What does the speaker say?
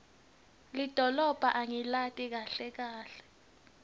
lidolobha angilati kahle kahle